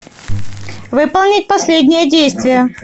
выполнить последнее действие